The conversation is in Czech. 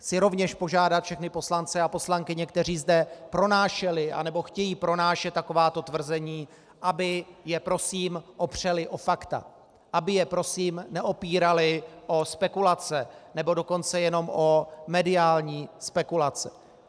Chci rovněž požádat všechny poslance a poslankyně, kteří zde pronášeli anebo chtějí pronášet takováto tvrzení, aby je prosím opřeli o fakta, aby je prosím neopírali o spekulace, nebo dokonce jenom o mediální spekulace.